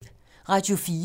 Radio 4